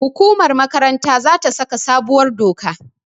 hukumar makaranta za ta saka sabuwar doka